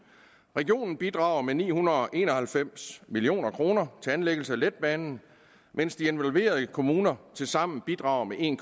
regionen bidrager med ni hundrede og en og halvfems million kroner til anlæggelse af letbanen mens de involverede kommuner tilsammen bidrager med en